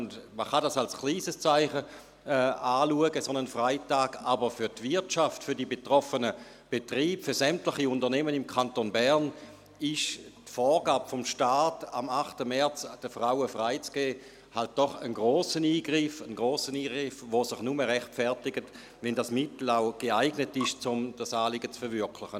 Man kann einen solchen Freitag als kleines Zeichen anschauen – aber für die Wirtschaft, für die betroffenen Betriebe, für sämtliche Unternehmen im Kanton Bern ist die Vorgabe des Staates, am 8. März den Frauen frei zu geben, halt doch ein grosser Eingriff – ein grosser Eingriff, der sich nur rechtfertigt, wenn das Mittel auch geeignet ist, um das Anliegen zu verwirklichen.